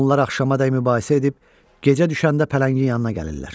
Onlar axşamacan mübahisə edib, gecə düşəndə pələngin yanına gəlirlər.